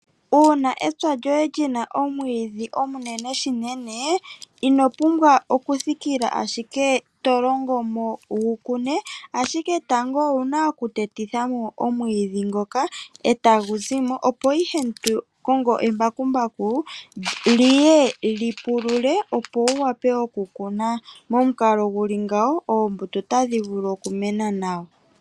Uuna epya lyoye li na omwiidhi ogundji, ino tega okuthikila ashike to longo mo wu kune, ashike tango owu na okuteti tha mo omwiidhi ngoka e tagu zi mo, opo ihe to kongo embakumbaku li ye li pulule, opo wu wape okukuna. Momukalo gu li ngawo oombuto otadhi vulu okumena nawa.